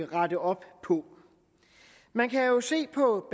rette op på man kan jo se på